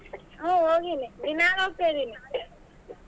ಹ್ಮ್ ಹೋಗಿನಿ ದಿನಾ ಹೋಗ್ತಾಯಿದಿನಿ.